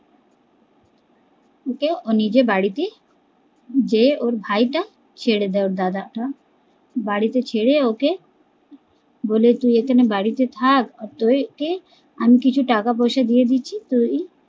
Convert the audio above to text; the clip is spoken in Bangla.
ওকে ওর নিজের বাড়িতে বলে যে ওর ভাই টা ছেড়ে দে ওর দাদা টা বাড়িতে ছেড়ে ওকে বলে তুই এখানে বাড়িতে থাক আমি কিছু টাকাপয়সা দিয়ে দিচ্ছি তুই